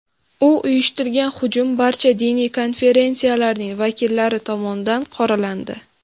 U uyushtirgan hujum barcha diniy konfessiyalarning vakillari tomonidan qoralandi.